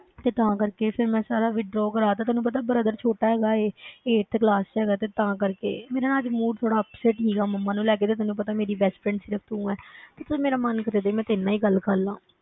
ਤੇ ਤਾਂ ਕਰਕੇ ਫਿਰ ਮੈਂ ਸਾਰਾ withdraw ਕਰਵਾ ਦਿੱਤਾ, ਤੈਨੂੰ ਪਤਾ brother ਛੋਟਾ ਹੈਗਾ ਹੈ eighth class ਵਿੱਚ ਹੈਗਾ ਤੇ ਤਾਂ ਕਰਕੇ, ਮੇਰਾ ਨਾ ਅੱਜ mood ਥੋੜ੍ਹਾ upset ਸੀਗਾ ਮੰਮਾ ਨੂੰ ਲੈ ਕੇ ਤੇ ਤੈਨੂੰ ਪਤਾ ਮੇਰੀ best friend ਸਿਰਫ਼ ਤੂੰ ਹੈ ਕਿ ਚੱਲ ਮੇਰਾ ਮਨ ਕਰਦਾ ਸੀ ਮੈਂ ਤੇਰੇ ਨਾਲ ਹੀ ਗੱਲ ਕਰ ਲਵਾਂ।